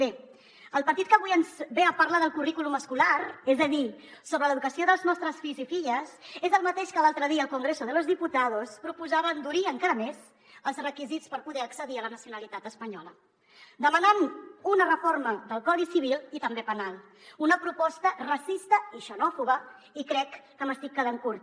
bé el partit que avui ens ve a parlar del currículum escolar és a dir sobre l’educació dels nostres fills i filles és el mateix que l’altre dia al congreso de los diputados proposava endurir encara més els requisits per poder accedir a la nacionalitat espanyola demanant una reforma del codi civil i també penal una proposta racista i xenòfoba i crec que m’estic quedant curta